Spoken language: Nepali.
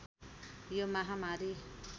यो महामारी